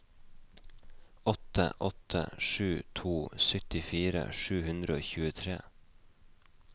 åtte åtte sju to syttifire sju hundre og tjuetre